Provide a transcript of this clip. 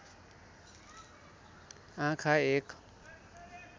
आँखा एक